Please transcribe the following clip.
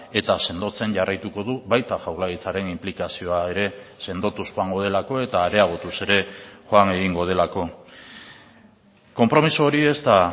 eta sendotzen jarraituko du baita jaurlaritzaren inplikazioa ere sendotuz joango delako eta areagotuz ere joan egingo delako konpromiso hori ez da